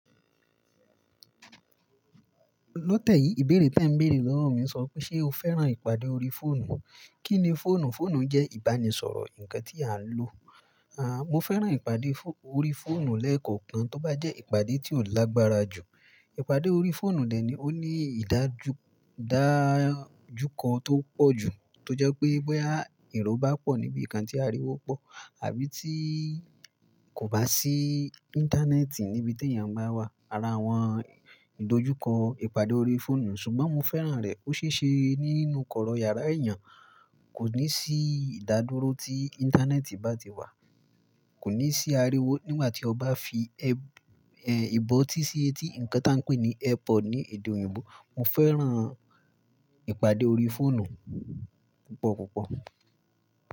Lọ́tẹ̀ yìí, ìbèrè tí à ń bèèrè lọ́wọ́ mi sọ pé ṣe o fẹ́ràn ìpàdé ori fóònù? Kí ni fóònù? Fóònù jẹ́ ìbánisọ̀rọ̀ nǹkan tí a ń lò. À, mo fẹ́ràn ìpàdé ori fóònù lẹ́ẹ̀kan tó bá jẹ́ ìpàdé tí ò lágbára jù. Ìpàdé ori fóònù dè ní ó ní ìdájúkọ tó pọ̀ jù tó jẹ́ pé bẹ́ ìró bá pọ̀ níbí kan tí ariwo pọ̀ àbí tí kò bá sí íńtánẹ́ẹ̀tì níbi tí èèyàn bá wà. Ara àwọn ìdojúkọ ìpàdé ori fóònù ṣùgbọ́n mo fẹ́ràn rẹ̀. Ó ṣe é ṣe nínú kọ̀rọ̀ yàrá èèyàn, kò ní sí ìdádúró tí íńtánẹ́ẹ̀tì bá ti wà, kò ní sí ariwo nígbà tí o bá fi air air bọ́ tí sí etí, nǹkan tí wọ́n ń pè ní airpod ní èdè òyìnbó. Mo fẹ́ràn ìpàdé ori fóònù púpọ̀ púpọ̀.